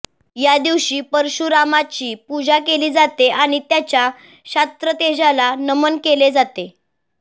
या दिवशी परशुरामाची पूजा केली जाते आणि त्याच्या क्षात्र तेजाला नमन केले जाते